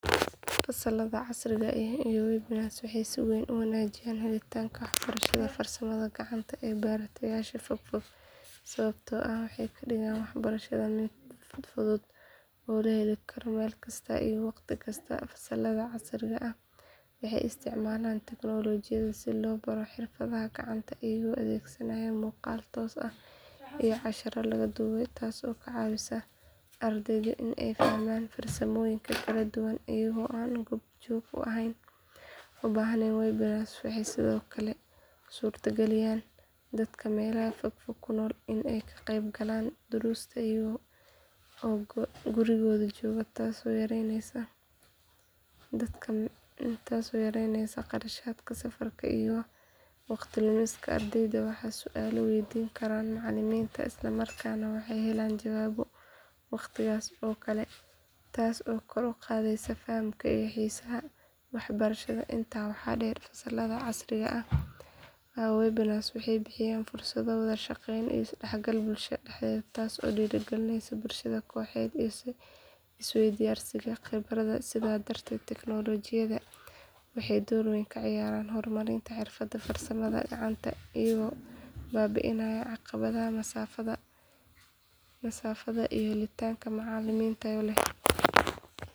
Fasalada casriga ah iyo webinars waxay si weyn u wanaajiyaan helitaanka waxbarashada farsamada gacanta ee bartayaasha fogfog sababtoo ah waxay ka dhigaan waxbarashada mid fudud oo la heli karo meel kasta iyo waqti kasta fasalada casriga ah waxay isticmaalaan tiknoolajiyada si loo baro xirfadaha gacanta iyagoo adeegsanaya muuqaal toos ah iyo casharro la duubay taasoo ka caawisa ardayda in ay fahmaan farsamooyinka kala duwan iyaga oo aan goob joog u baahnayn webinars waxay sidoo kale u suurtageliyaan dadka meelaha fogfog ku nool in ay ka qaybgalaan duruusta iyaga oo gurigooda jooga taasoo yaraynaysa kharashaadka safarka iyo waqti lumiska ardayda waxay su’aalo weydiin karaan macalimiinta isla markaana waxay helaan jawaabo waqtigaas oo kale taas oo kor u qaadaysa fahamka iyo xiisaha waxbarashada intaa waxaa dheer fasalada casriga ah iyo webinars waxay bixiyaan fursado wada shaqeyn iyo is dhexgal bulshada dhexdeeda taasoo dhiirrigelisa barashada kooxeed iyo isweydaarsiga khibradaha sidaas darteed teknoolajiyadan waxay door weyn ka ciyaaraan horumarinta xirfadaha farsamada gacanta iyagoo baabi’inaya caqabadaha masaafada iyo helitaanka macallimiin tayo leh.